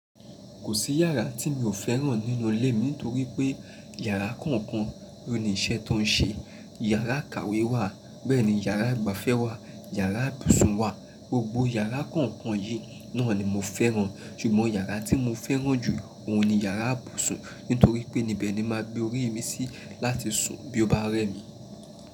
Kò sí iyàrá tí mi ò fẹ́ràn nínú ilé mi nítorí pé iyàrá kọ̀ọ̀kan ló ní iṣẹ́ tó ń ṣe. Iyàrá ìkàwé wà, bẹ́ẹ̀ ni iyàrá ìgbafẹ́ wà, iyàrá ibùsùn wà. Gbogbo iyàrá kọ̀ọ̀kan yìí náà ni mo fẹ́ràn. Ṣùgbọ́n iyàrá tí mo fẹ́ràn jù ó ni iyàrá ibùsùn nítorí pé ni bẹ́ẹ̀ ni máa gbé orí mi sí láti sùn bí ó bá rẹ mí.